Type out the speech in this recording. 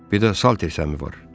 Bir də satdil səmi var.